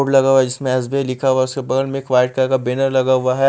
Board लगा हुआ है जिसमें एस_बी_आई लिखा हुआ है उसके बगल में एक वाइट कलर का बैनर लगा हुआ है।